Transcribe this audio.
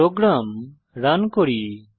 programme run করি